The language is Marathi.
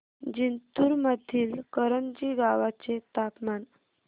जिंतूर मधील करंजी गावाचे तापमान